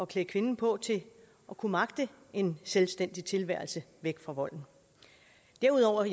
klæde kvinden på til at kunne magte en selvstændig tilværelse væk fra volden derudover